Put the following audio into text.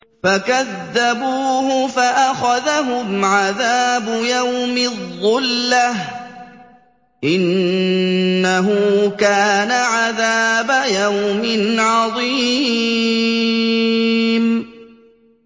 فَكَذَّبُوهُ فَأَخَذَهُمْ عَذَابُ يَوْمِ الظُّلَّةِ ۚ إِنَّهُ كَانَ عَذَابَ يَوْمٍ عَظِيمٍ